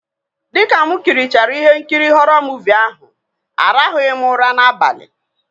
Dịka mụ kirichara ihe nkiri họrọ muuvi ahụ, aranwughị m ụra n'abalị